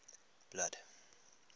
blood